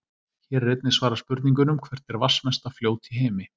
Hér er einnig svarað spurningunum: Hvert er vatnsmesta fljót í heimi?